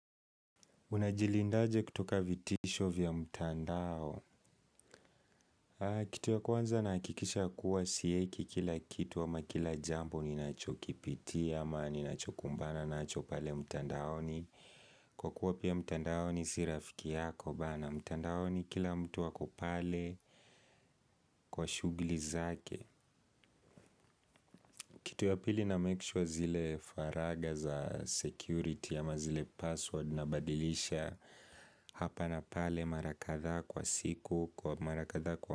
Unajilinda aje kutoka vitisho vya mtandao? Kitu ya kwanza, nahakikisha kuwa sieki kila kitu ama kila jambo ni nacho kipitia ama ni nacho kumbana nacho pale mtandaoni. Kwa kuwa pia mtandaoni si rafiki yako bana mtandaoni kila mtu ako pale kwa shughuli zake. Kitu ya pili na make sure zile faraga za security ama zile password na badilisha hapa na pale mara kadha kwa siku kwa mara kadha kwa.